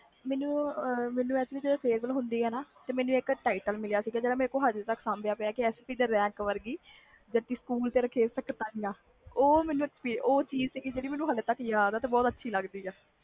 ਮੈਨੂੰ actually ਜਦੋ farewell ਹੁੰਦੀ ਆ ਓਦੋ ਮੈਨੂੰ ਇਕ title ਮਿਲਿਆ ਸੀ ਜਿਹੜਾ ਮੇਰੇ ਕੋਲ ਅਜੇ ਤਕ ਆ sp ਦੇ ਰੈਕ ਵਰਗੀ ਜੱਟੀ ਸਕੂਲ ਤੇ ਰੱਖੇ ਸਕਤਾਇਆ ਉਹ ਚੀਜ਼ ਆ ਜਿਹੜੀ ਮੈਨੂੰ ਅਜੇ ਤਕ ਯਾਦ ਆ'